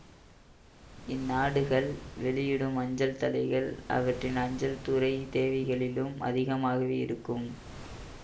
இந்நாடுகள் வெளியிடும் அஞ்சல் தலைகள் அவற்றின் அஞ்சல் துறை தேவைகளிலும் அதிகமாகவே இருக்கும்